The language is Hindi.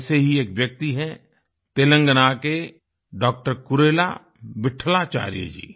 ऐसे ही एक व्यक्ति हैं तेलंगाना के डॉक्टर कुरेला विट्ठलाचार्य जी